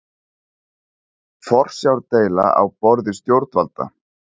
Forsjárdeila á borði stjórnvalda